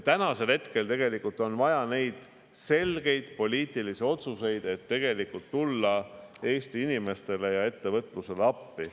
Praegu on tegelikult vaja selgeid poliitilisi otsuseid, et tulla Eesti inimestele ja ettevõtlusele appi.